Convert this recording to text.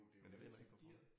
Men jeg ved heller ikke hvorfor